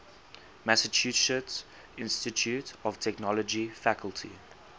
massachusetts institute of technology faculty